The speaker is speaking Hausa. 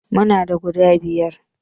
Muna da guda biyar